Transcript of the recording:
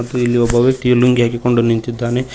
ಮತ್ತು ಇಲ್ಲಿ ಒಬ್ಬ ವ್ಯಕ್ತಿ ಲುಂಗಿ ಹಾಕಿಕೊಂಡು ನಿಂತಿದ್ದಾನೆ.